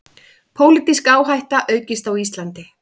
Pólitísk áhætta aukist á Íslandi